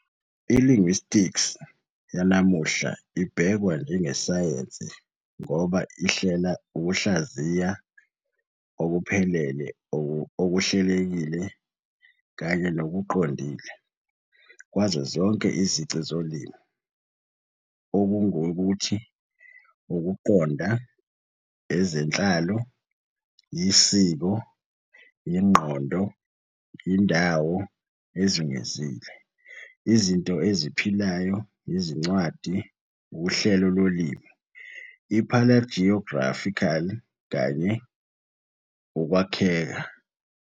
I-linguistics yanamuhla ibhekwa njengesayensi ngoba ihilela ukuhlaziywa okuphelele, okuhlelekile, kanye nokuqondile kwazo zonke izici zolimi - okungukuthi, ukuqonda, ezenhlalo, isiko, ingqondo, indawo ezungezile, izinto eziphilayo, izincwadi, uhlelo lolimi, I-paleographical, kanye ukwakheka.